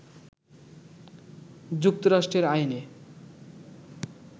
যুক্তরাষ্ট্রের আইনে